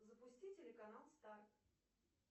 запусти телеканал старт